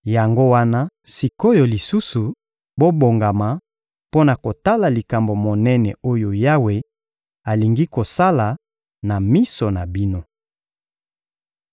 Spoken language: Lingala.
Yango wana sik’oyo lisusu, bobongama mpo na kotala likambo monene oyo Yawe alingi kosala na miso na bino.